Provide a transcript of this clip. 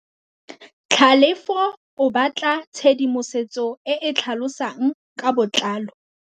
Tlhalefô o batla tshedimosetsô e e tlhalosang ka botlalô.